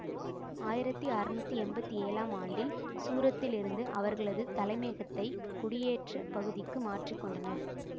ஆயிரத்தி அறுநூற்றி எம்பத்தி ஏழாம் ஆண்டில் சூரத்திலிருந்து அவர்களது தலைமையகத்தை குடியேற்ற பகுதிக்கு மாற்றிக்கொண்டனர்